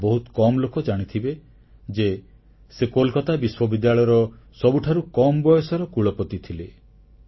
ଏହା ବହୁତ କମ୍ ଲୋକ ଜାଣିଥିବେ ଯେ ସେ କୋଲକାତା ବିଶ୍ୱବିଦ୍ୟାଳୟର ସବୁଠାରୁ କମ୍ ବୟସର କୁଳପତି ଥିଲେ